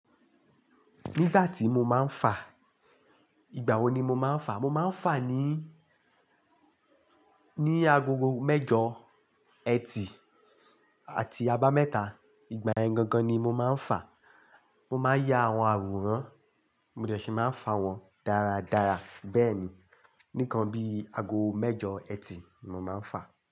Nígbà tí mo máa ń fa, ìgbà wò ni mo máa ń fa? Mo máa ń fa ní, ní agogo mẹ́jọ, ẹtì, àti abámẹ́ta. Ìgbà yẹn gangan ni mọ máa ń fa. Mọ máa n ya àwọn àwòrán, mo dẹ̀ ṣì máa ń fa wọn dáradára. Bẹ́ẹ̀ni, nìkan bíi ago mẹ́jọ ẹtì ni mọ máa ń fa.